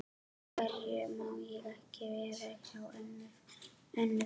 Af hverju má ég ekki vera hjá Önnu frænku?